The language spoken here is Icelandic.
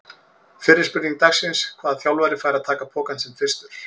Fyrri spurning dagsins: Hvaða þjálfari fær að taka pokann sinn fyrstur?